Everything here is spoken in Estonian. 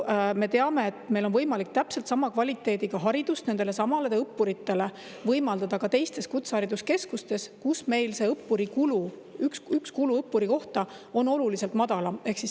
Me teame, et meil on võimalik täpselt sama kvaliteediga haridust nendelesamadele õppuritele võimaldada ka teistes kutsehariduskeskustes, kus meil kulu ühe õppuri kohta on oluliselt madalam.